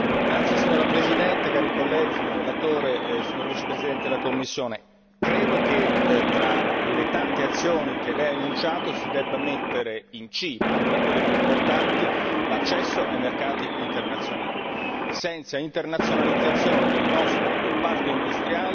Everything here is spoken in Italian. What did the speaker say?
Signora Presidente, onorevoli colleghi, signor relatore, signor vicepresidente della Commissione, credo che tra le tante azioni che lei ha annunciato si debba mettere in cima, tra quelle più importanti, l'accesso ai mercati internazionali senza internalizzazione del nostro comparto industriale